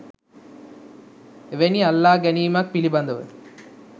එවැනි අල්ලා ගැනීමක් පිළිබඳව